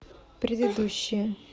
предыдущая